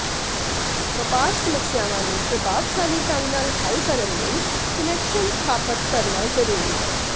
ਵਪਾਰ ਸਮੱਸਿਆਵਾਂ ਨੂੰ ਪ੍ਰਭਾਵਸ਼ਾਲੀ ਢੰਗ ਨਾਲ ਹੱਲ ਕਰਨ ਲਈ ਕੁਨੈਕਸ਼ਨ ਸਥਾਪਤ ਕਰਨਾ ਜ਼ਰੂਰੀ ਹੈ